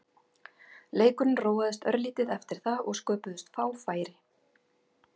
Leikurinn róaðist örlítið eftir það og sköpuðust fá færi.